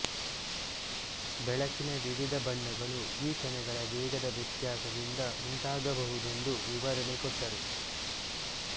ಬೆಳಕಿನ ವಿವಿಧ ಬಣ್ಣಗಳು ಈ ಕಣಗಳ ವೇಗದ ವ್ಯತ್ಯಾಸದಿಂದ ಉಂಟಾಗಬಹುದೆಂದು ವಿವರಣೆ ಕೊಟ್ಟರು